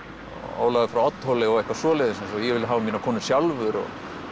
Ólafur frá Oddhóli og eitthvað svoleiðis eins og ég vil nú hafa mínar konur sjálfur